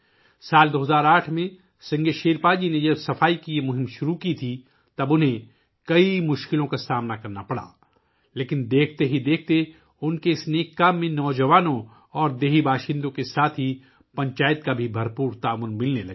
سال 2008 ء میں ، جب سنگے شیرپا جی نے صفائی کی یہ مہم شروع کی تو انہیں بہت سی مشکلات کا سامنا کرنا پڑا لیکن کچھ ہی دنوں میں نوجوانوں اور گاؤں والوں کے ساتھ ساتھ پنچایت کا بھی اس نیک کام میں بھرپور تعاون ملنے لگا